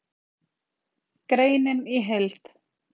Greinin í heild